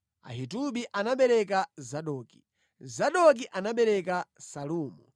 Ahitubi anabereka Zadoki, Zadoki anabereka Salumu,